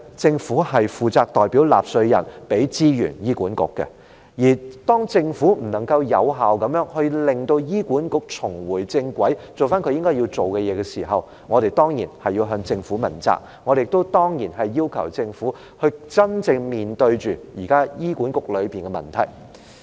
政府負責代表納稅人向醫管局提供資源，而當政府不能有效地令醫管局重回正軌，做回它應做的事時，我們當然要向政府問責，我們亦當然要求政府須真正面對現時醫管局內部的問題。